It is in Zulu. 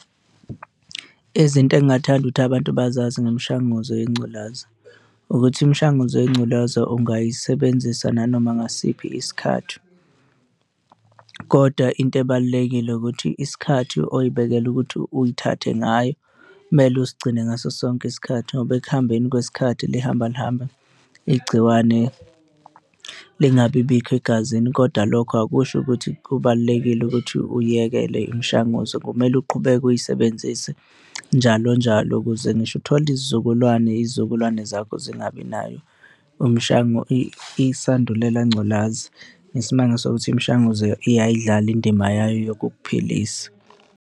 Izinto engathanda ukuthi abantu bazazi ngemishanguzo yengculazi ukuthi imishanguzo yengculaza, ungayisebenzisa nanoma ngasiphi isikhathi. Kodwa into ebalulekile ukuthi isikhathi oy'bekele ukuthi uyithathe ngayo kumele usigcine ngaso sonke isikhathi ngoba ekuhambeni kwesikhathi lihamba lihambe igciwane lingabibikho egazini. Kodwa lokho akusho ukuthi kubalulekile ukuthi uyekele imishanguzo, kumele uqhubeke uyisebenzise njalo njalo ukuze ngisho uthole izizukulwane izizukulwane zakho zingabi nayo isandulela ngculazi ngesimanga sokuthi imishanguzo iyayidlala indima yayo yokukuphilisa.